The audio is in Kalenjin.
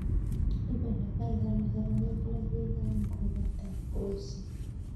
ipe Logekalak arawek loo yee kango pata kolset